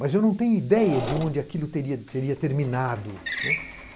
Mas eu não tenho ideia de onde aquilo teria terminado.